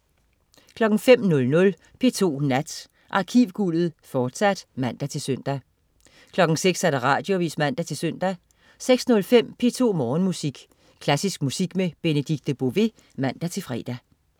05.00 P2 Nat. Arkivguldet, fortsat (man-søn) 06.00 Radioavis (man-søn) 06.05 P2 Morgenmusik. Klassisk musik med Benedikte Bové (man-fre)